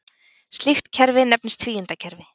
Slíkt kerfi nefnist tvíundakerfi.